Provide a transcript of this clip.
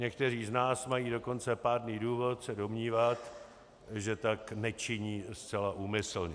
Někteří z nás mají dokonce pádný důvod se domnívat, že tak nečiní zcela úmyslně.